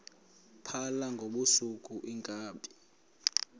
phala ngobusuku iinkabi